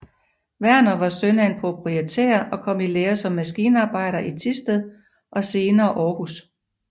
Werner var søn af en proprietær og kom i lære som maskinarbejder i Thisted og senere Århus